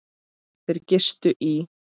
Þeir gistu í